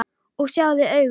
Og sjáðu augun!